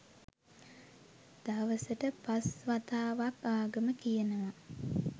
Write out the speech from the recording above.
දවසට පස්‌ වතාවක්‌ ආගම කියනවා.